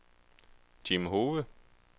Jim Hove